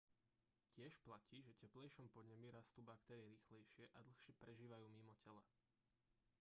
tiež platí že teplejšom podnebí rastú baktérie rýchlejšie a dlhšie prežívajú mimo tela